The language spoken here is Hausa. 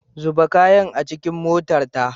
Zuba kayan a cikin but ɗin motarta.